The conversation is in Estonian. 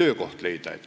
töökoha leida.